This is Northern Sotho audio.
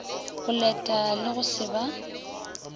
boleta le go se ba